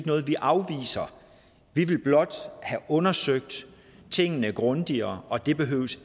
noget vi afviser vi vil blot have undersøgt tingene grundigere og det behøver